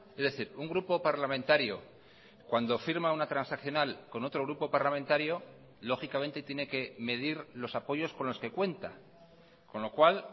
es decir un grupo parlamentario cuando firma una transaccional con otro grupo parlamentario lógicamente tiene que medir los apoyos con los que cuenta con lo cual